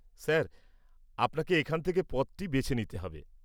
Sir, আপনাকে এখান থেকে পদটি বেছে নিতে হবে।